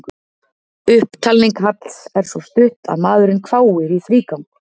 Upptalning Halls er svo stutt að maðurinn hváir í þrígang.